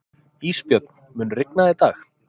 Ísbjörn, mun rigna í dag?